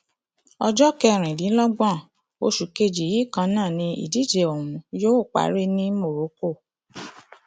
ọjọ kẹrìndínlọgbọn oṣù keje yìí kan náà ni ìdíje ọhún yóò parí ní morocco